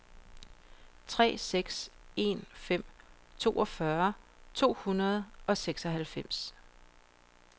tre seks en fem toogfyrre to hundrede og seksoghalvfems